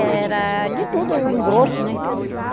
Era de tudo, engrosso, né?